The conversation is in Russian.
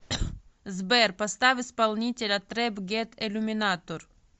сбер поставь исполнителя трэп гет иллюминатор